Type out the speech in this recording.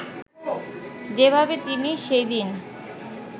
যেভাবে তিনি সেদিন